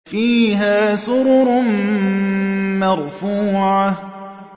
فِيهَا سُرُرٌ مَّرْفُوعَةٌ